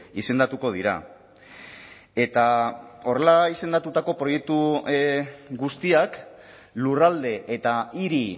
izendatuko dira eta horrela izendatutako proiektu guztiak lurralde eta hiri